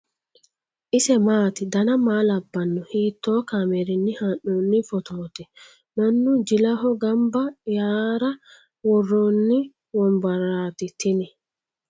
ise maati ? dana maa labbanno ? hiitoo kaameerinni haa'noonni footooti ? mannu jilaho gamba yaara worronni wombarrati tini ?